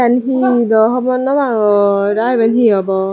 yen hi daw hobor nopangor aa iben hi obo.